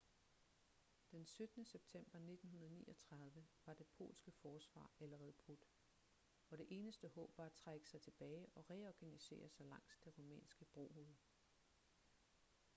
den 17. september 1939 var det polske forsvar allerede brudt og det eneste håb var at trække sig tilbage og reorganisere sig langs det rumænske brohoved